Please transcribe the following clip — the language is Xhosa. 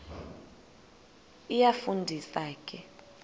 iyafu ndisa ke